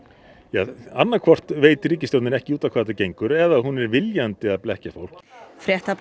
ja annaðhvort veit ríkisstjórnin ekki út á hvað þetta gengur eða hún er viljandi að blekkja fólk